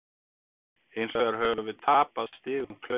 Hins vegar höfum við tapað stigum klaufalega.